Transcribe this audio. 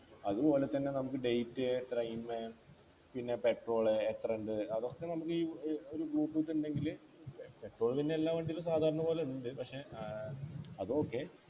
അതുപോലെതന്നെ നമുക്ക് Date time പിന്നെ Petrol എത്രയുണ്ട് അതൊക്കെ നമ്മുടെ ഈ ഏർ ഒരു ഏർ Bluetooth ഉണ്ടെങ്കില് Petrol പിന്നെ എല്ലാ വണ്ടിയിലും സാധാരണ പോലെയുണ്ട് പക്ഷ ആഹ് അത് okay